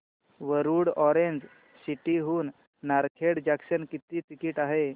Warud orange city हून Narkhed junction किती ticket आहे